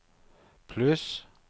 pluss